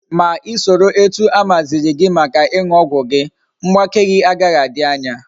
Ma isoro etu amaziri gi Maka iñu ogwu gi, mgbake gi agaghi adi anya